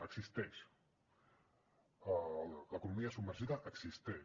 existeix l’economia submergida existeix